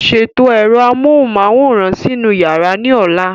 Ṣètò ẹ̀rọ amóhùnmáwòrán sínú yàrá ní ọ̀la.